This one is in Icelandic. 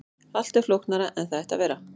Allt er flóknara en það ætti að vera.